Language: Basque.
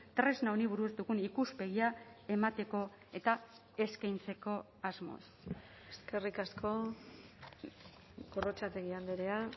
tresna honi buruz dugun ikuspegia emateko eta eskaintzeko asmoz eskerrik asko gorrotxategi andrea